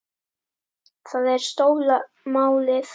Það er stóra málið.